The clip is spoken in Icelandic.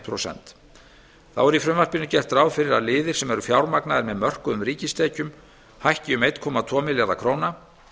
prósent þá er í frumvarpinu gert ráð fyrir að liðir sem eru fjármagnaðir með mörkuðum ríkistekjum hækki um einn komma tvo milljarða króna